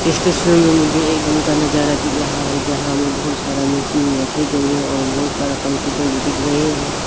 इस तस्वीर में मुझे एक रूम का नजारा दिख रहा है जहां मैं बहुत सारा मशीन रख गई है और बहुत सारा कंप्यूटर भी दिख रहे --